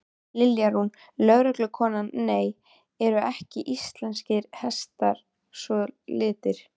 Lilja Rún, lögreglukona: Nei, eru ekki íslenskir hestar svo litlir?